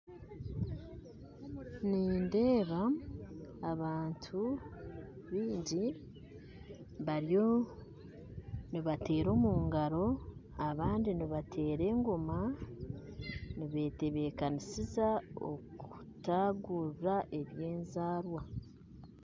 Nindeeba abantu baingi bariyo nibateera omungaro abandi nibateera engoma nibetebekanisiza okutagurira ebyenzaarwa